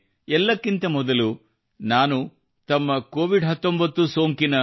ಎಲ್ಲಕ್ಕಿಂತ ಮೊದಲು ನಾನು ತಮ್ಮ ಕೋವಿಡ್ 19 ಸೋಂಕಿನ